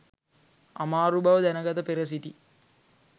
අමාරු බව දැනගත පෙර සිටි